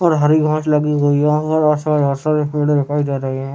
और हरी घास लगी हुई है और ऐसा वैसा इस वीडियो में दिखाई दे रही है।